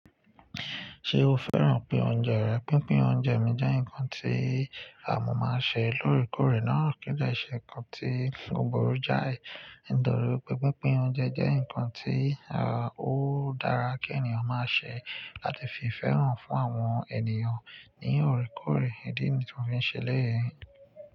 Ṣé o fẹ́ràn pín oúnjẹ rẹ? Pínpín oúnjẹ mi jẹ́ nǹkan tí à mọ̀ máa ń ṣe lóòrèkóòrè náà kí í dẹ́ ṣẹ́ nkan tí ó burú jáì. Nítorí pé pínpín oúnjẹ jẹ́ nǹkan tí ó dára kí ènìyàn máa ṣe láti fi ìfẹ́ hàn fún àwọn ènìyàn ní òrèkóòrè. Ìdí ni tì mo fí n ṣe eléyìí.